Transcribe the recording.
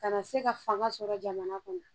Ka na se ka fanga sɔrɔ jamana kɔnɔ